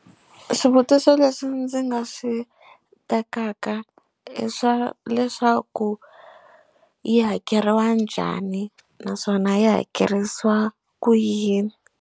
Swivutiso leswi ndzi nga swi tekaka i swa leswaku yi hakeriwa njhani naswona yi hakerisiwa ku yini.